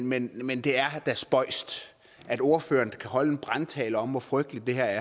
men men det er da spøjst at ordføreren kan holde en brandtale om hvor frygteligt det her